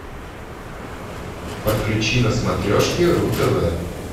подключи на смотрешке ру тв